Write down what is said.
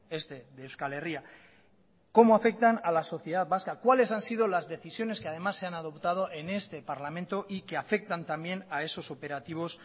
este de euskal herria cómo afectan a la sociedad vasca cuáles han sido las decisiones que además se han adoptado en este parlamento y que afectan también a esos operativos